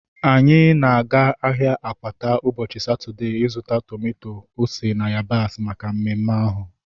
Anyị na-aga ahịa Akwata ụbọchị Satọdee ịzụta tomato, ose na yabasị maka mmemme ahu